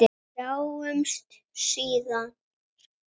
Sjáumst síðar!